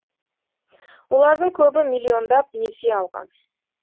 олардың көбі миллиондап несие алған